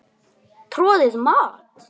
Troðið mat?